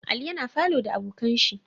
Ali yana falow da abokanshi